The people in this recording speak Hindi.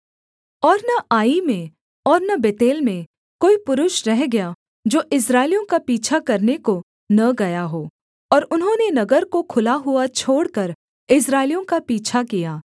और न आई में और न बेतेल में कोई पुरुष रह गया जो इस्राएलियों का पीछा करने को न गया हो और उन्होंने नगर को खुला हुआ छोड़कर इस्राएलियों का पीछा किया